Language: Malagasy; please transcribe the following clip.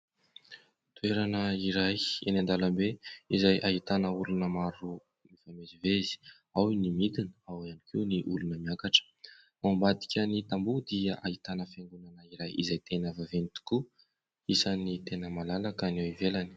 Toerana iray eny an-dalambe izay ahitana olona maro mivezivezy, ao ny midina, ao ihany koa ny olona miakatra. Ao ambadiky ny tamboho dia ahitana fiangonana izay tena vaventy tokoa, isan'ny tena malalaka ny ivelany.